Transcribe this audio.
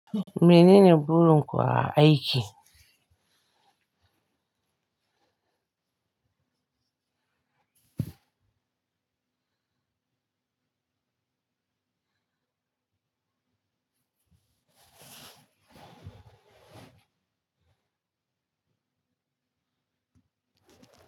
Menene burin ku a aiki?